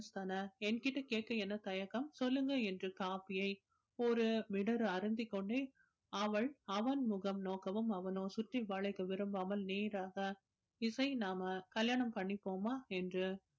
தானே என்கிட்ட கேட்க என்ன தயக்கம் சொல்லுங்க என்று coffee யை ஒரு மிடரு அருந்திக் கொண்டே அவள் அவன் முகம் நோக்கவும் அவனோ சுற்றி வளைக்க விரும்பாமல் நேராக இசை நாம கல்யாணம் பண்ணிப்போமா என்று